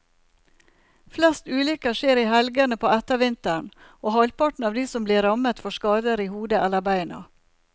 Flest ulykker skjer i helgene på ettervinteren, og halvparten av de som blir rammet får skader i hodet eller beina.